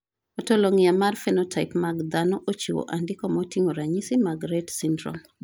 Ontologia mar phenotype mag dhano ochiwo andika moting`o ranyisi mag Rett Syndrome..